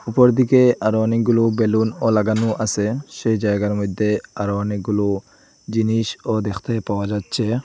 উপর দিকে আরো অনেকগুলো বেলুন ও লাগানো আছে সেই জায়গার মধ্যে আরও অনেকগুলো জিনিসও দেখতে পাওয়া যাচ্ছে।